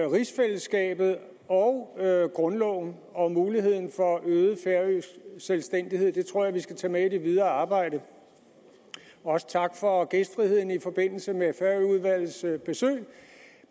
rigsfællesskabet og grundloven og muligheden for øget færøsk selvstændighed dem tror jeg vi skal tage med i det videre arbejde også tak for gæstfriheden i forbindelse med færøudvalgets besøg